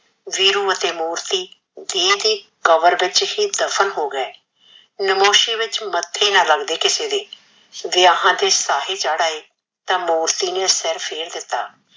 ਵੀਰੂ ਅਤੇ ਮੂਰਤੀ ਦਿਹ ਦੀ ਕਬਰ ਵਿੱਚ ਹੀ ਦਫ਼ਨ ਹੋ ਗਏ। ਨਮੋਸ਼ੀ ਵਿੱਚ ਮੱਥੇ ਨਾਂ ਲੱਦਗੇ ਕਿਸੇ ਦੇ, ਵਿਆਹਾ ਦੇ ਸਾਹੇ ਚੱੜ ਆਏ ਤਾਂ ਮੂਰਤੀ ਨੇ ਸੀਰਫ਼ ਇਹ ਦਿੱਤਾ